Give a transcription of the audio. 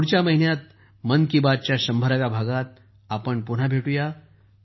पुढच्या महिन्यात मन की बात च्या शंभराव्या 100 व्या भागात आपण भेटू या